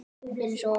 Eins og